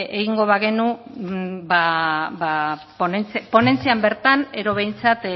egingo bagenu ba ponentzian bertan edo behintzat